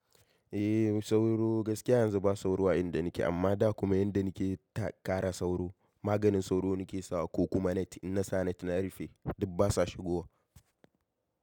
Eh sauro gaskiya yanzu ba sauro a inda nake amma da kuma inda nake ta kara sauro. Maganin sauro nake sawa ko kuma net in na sa net na rufe duk basa shigowa.